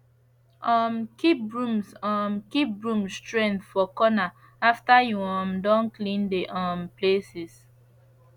um keep brooms um keep brooms strength for corner after you um don clean de um places